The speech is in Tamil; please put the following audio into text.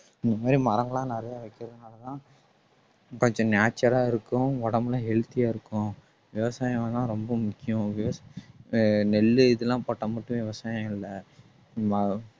இந்த மாதிரி மரங்கள் எல்லாம் நிறைய வைக்கிறதுனாலதான் கொஞ்சம் nature ஆ இருக்கும் உடம்பெல்லாம் healthy யா இருக்கும் விவசாயம் எல்லாம் ரொம்ப முக்கியம் okay அஹ் நெல்லு இதெல்லாம் போட்டா மட்டுமே விவசாயம் இல்ல